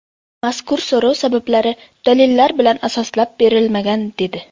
Mazkur so‘rov sabablari dalillar bilan asoslab berilmagan”, ― dedi.